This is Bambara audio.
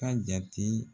Ka jate